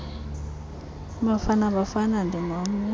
ibafana bafana ndingomnye